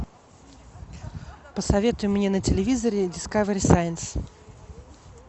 посоветуй мне на телевизоре дискавери сайнс